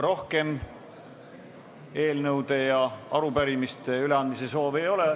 Rohkem eelnõude ja arupärimiste üleandmise soovi ei ole.